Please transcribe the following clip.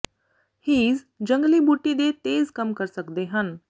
his ਜੰਗਲੀ ਬੂਟੀ ਦੇ ਤੇਜ਼ ਕੰਮ ਕਰ ਸਕਦੇ ਹਨ